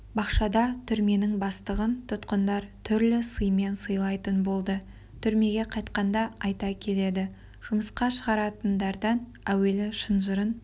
бақшада түрменің бастығын тұтқындар түрлі сыймен сыйлайтын болды түрмеге қайтқанда айта келеді жұмысқа шығаратындардан әуелі шынжырын